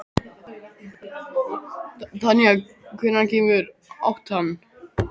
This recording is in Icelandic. Tanja, hvenær kemur áttan?